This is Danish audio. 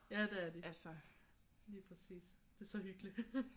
Ja det er de. Lige præcis. Det er så hyggeligt